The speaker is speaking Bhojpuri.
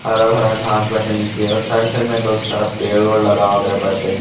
हरा भरा घास बाटे नीचे और साइड साइड में बहुत सारा पेड़ ओड़ लगावल गइल बाटे।